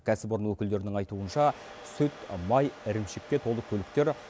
кәсіпорын өкілдерінің айтуынша сүт май ірімшікке толы көліктер